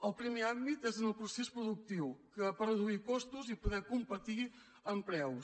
el primer àmbit és en el procés productiu per reduir costos i poder competir en preus